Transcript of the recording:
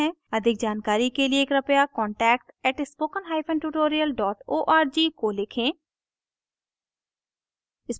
अधिक जानकारी के लिए कृपया contact @spokentutorial org को लिखें